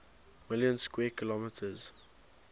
million square kilometers